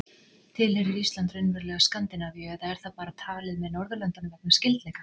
Tilheyrir Ísland raunverulega Skandinavíu eða er það bara talið með Norðurlöndunum vegna skyldleika?